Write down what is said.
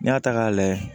N'i y'a ta k'a lajɛ